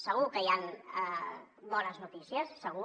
segur que hi han bones notícies segur